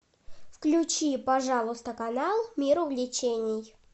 включи пожалуйста канал мир увлечений